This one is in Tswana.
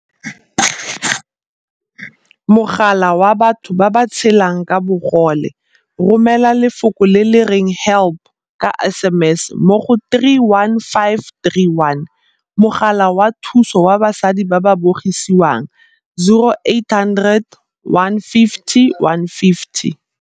Mogala wa Batho ba ba Tshelang ka Bogole, Romela lefoko le le reng 'help' ka SMS mo go 31531. Mogala wa Thuso wa Basadi ba ba Bogisiwang, 0800 150 150.